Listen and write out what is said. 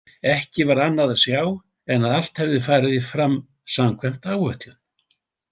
Ekki var annað að sjá en að allt hefði farið fram samkvæmt áætlun.